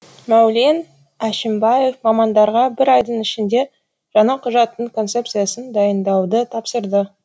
мәулен әшімбаев мамандарға бір айдың ішінде жаңа құжаттың концепциясын дайындауды тапсырды